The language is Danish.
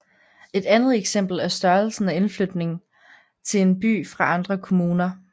Et andet eksempel er størrelsen af indflytning til en by fra andre kommuner